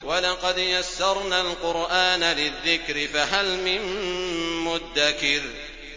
وَلَقَدْ يَسَّرْنَا الْقُرْآنَ لِلذِّكْرِ فَهَلْ مِن مُّدَّكِرٍ